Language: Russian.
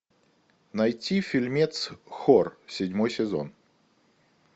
найти фильмец хор седьмой сезон